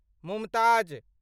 Mumtaz